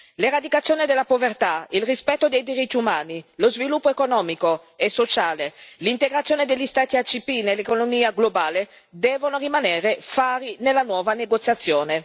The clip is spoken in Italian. L'eradicazione della povertà, il rispetto dei diritti umani, lo sviluppo economico e sociale e l'integrazione degli Stati ACP nell'economia globale devono rimanere fari nella nuova negoziazione.